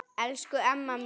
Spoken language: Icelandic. Elsku Emma mín.